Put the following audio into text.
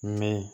Mɛ